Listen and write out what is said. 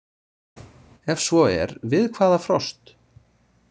Ef svo er við hvaða frost?